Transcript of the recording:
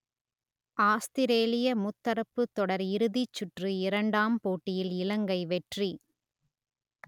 ஆஸ்த்திரேலிய முத்தரப்புத் தொடர் இறுதிச் சுற்று இரண்டாம் போட்டியில் இலங்கை வெற்றி